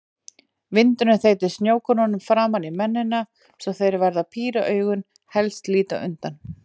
Vindurinn þeytir snjókornum framan í mennina svo þeir verða að píra augun, helst líta undan.